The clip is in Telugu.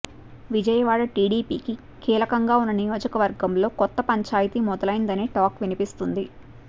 విజయవాడ టీడీపీకి కీలకంగా ఉన్న నియోజకవర్గంలో కొత్త పంచాయతీ మొదలైందనే టాక్ వినిపిస్తోంది